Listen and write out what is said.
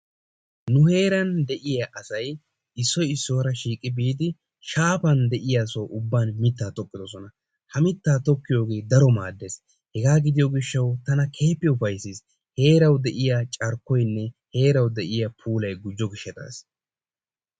Nu heeran de'iya asay issoy issuwara shiiqqi biidi shaafan de'iya soho ubban mittaa tokkiddodona, ha mittaa tokkiyogee daro maaddees. Hegaa gidiyo gishshawu tana keehippe ufayssiis, heerawu de'iya carkkoynne heerawu de'iya puulay gujjo gishshstaas.